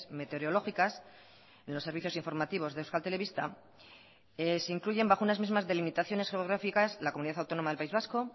meteorológicas en los servicios informativos de euskal telebista se incluyen bajo unas mismas delimitaciones geográficas la comunidad autónoma del país vasco